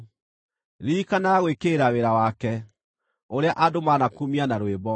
Ririkanaga gwĩkĩrĩra wĩra wake, ũrĩa andũ manakumia na rwĩmbo.